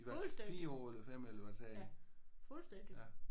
Fuldstændig. Fuldstændig